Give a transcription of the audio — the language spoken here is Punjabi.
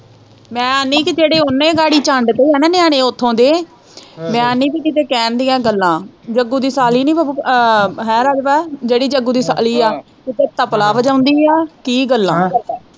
ਮੈਂ ਆਂਦੀ ਹੈ ਕਿ ਜਿਹੜੇ ਉਹਨੇ ਗਾੜੀ ਚੰਡ ਤੇ ਹੈ ਨਾ ਨਿਆਣੇ ਉੱਥੋਂ ਦੇ ਮੈਂ ਆਂਦੀ ਕਿ ਕਿਤੇ ਕਹਿਣ ਦੀਆਂ ਗੱਲਾਂ ਜੱਗੂ ਦੀ ਸਾਲੀ ਨੀ ਹੈ ਰਾਜੂ ਭਾ ਜਿਹੜੀ ਜੱਗੂ ਦੀ ਸਾਲੀ ਹੈ ਕਿਤੇ ਤਬਲਾ ਵਜਾਉਂਦੀ ਹੈ ਕੀ ਗੱਲਾਂ।